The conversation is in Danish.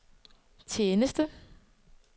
tjeneste